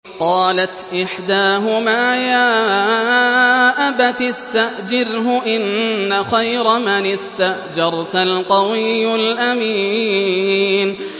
قَالَتْ إِحْدَاهُمَا يَا أَبَتِ اسْتَأْجِرْهُ ۖ إِنَّ خَيْرَ مَنِ اسْتَأْجَرْتَ الْقَوِيُّ الْأَمِينُ